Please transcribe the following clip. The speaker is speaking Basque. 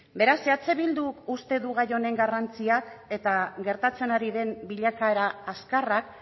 beraz eh bilduk uste du gai honen garrantziak eta gertatzen ari den bilakaera azkarrak